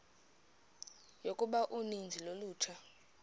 yokuba uninzi lolutsha